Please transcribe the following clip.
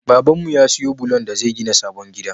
Baban mu ya siyo bulon da zai gina sabon gida